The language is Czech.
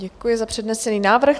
Děkuji za přednesený návrh.